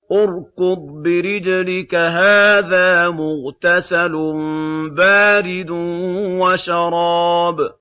ارْكُضْ بِرِجْلِكَ ۖ هَٰذَا مُغْتَسَلٌ بَارِدٌ وَشَرَابٌ